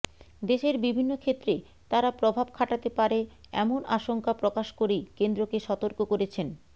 দেশের বিভিন্ন ক্ষেত্রে তারা প্রভাব খাটাতে পারে এমন আশঙ্কা প্রকাশ করেই কেন্দ্রকে সতর্ক করেছেন